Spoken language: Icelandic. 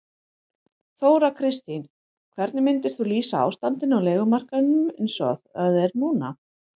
Þóra Kristín: Hvernig myndir þú lýsa ástandinu á leigumarkaðnum eins og það er núna?